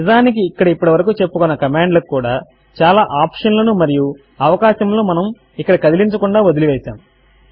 నిజమునకు ఇక్కడ ఇప్పటి వరకు చెప్పుకున్న కమాండ్ లకు కూడా చాలా ఆప్షన్ లను మరియు అవకాశములను మనము ఇక్కడ కదిలించకుండా వదలి వేసాము